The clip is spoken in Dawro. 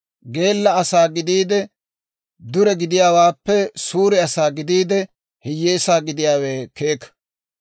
Geella asaa gidiide, dure gidiyaawaappe suure asaa gidiide, hiyyeesaa gidiyaawe keeka.